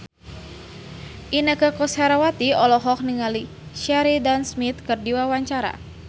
Inneke Koesherawati olohok ningali Sheridan Smith keur diwawancara